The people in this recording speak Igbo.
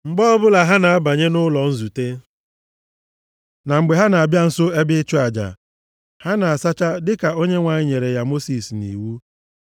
Mgbe ọbụla ha na-abanye nʼụlọ nzute na mgbe ha na-abịa nso ebe ịchụ aja, ha na-asacha, dịka Onyenwe anyị nyere ya Mosis nʼiwu.